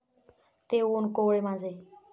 ते ऊन कोवळे माझे